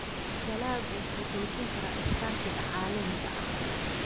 Dalaggu wuxuu xoojin karaa iskaashiga caalamiga ah.